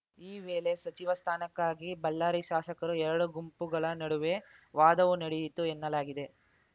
ಈ ವೇಳೆ ಸಚಿವ ಸ್ಥಾನಕ್ಕಾಗಿ ಬಳ್ಳಾರಿ ಶಾಸಕರು ಎರಡು ಗುಂಪುಗಳ ನಡುವೆ ವಾದವೂ ನಡೆಯಿತು ಎನ್ನಲಾಗಿದೆ